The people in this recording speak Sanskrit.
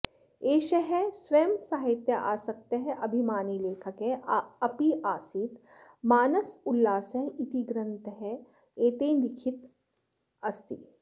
एषः स्वयम् सहित्यासक्तः अभिमानीलेखकः आप्यासीत् मानसोल्लासः इति ग्रन्थः एतेन लिखितः अस्ति